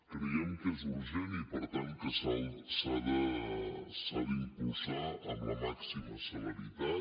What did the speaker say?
creiem que és urgent i per tant que s’ha d’impulsar amb la màxima celeritat